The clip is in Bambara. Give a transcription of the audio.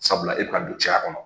Sabula e bɛ ka don cɛya kɔnɔ.